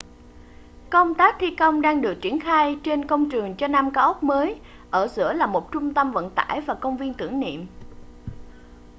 công tác thi công đang được triển khai trên công trường cho năm cao ốc mới ở giữa là một trung tâm vận tải và công viên tưởng niệm